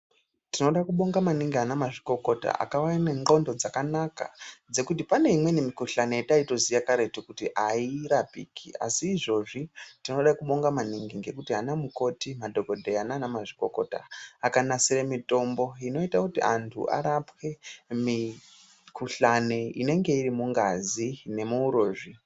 Tinoda kubonga maningi ana mazvikokota akauya nendxondo dzakanaka dzekuti pane imweni mikuhlani yataitoziya karetu kuti airapiki asi izvozvi tinoda kubonga maningi ngekuti ana mukoti, madhokodheya nanamazvikokota akanasire mitombo inoita kuti anthu arapwe mikuhlani inenge iri mungazi nemuurozvi.